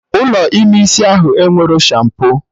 Ụlọ ime isi ahụ enwerọ shampo